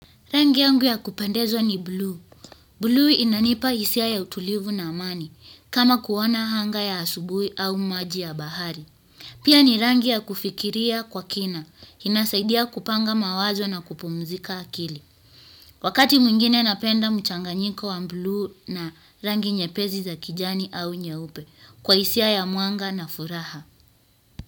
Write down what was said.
Rangi yangu ya kupendeza ni bluu bluu inanipa hisia ya utulivu na amani, kama kuona anga ya asubuhi au maji ya bahari. Pia ni rangi ya kufikiria kwa kina, inasaidia kupanga mawazo na kupumzika akili. Wakati mwingine napenda mchanganyiko wa bluu na rangi nyepesi za kijani au nyeupe, kwa hisia ya mwanga na furaha.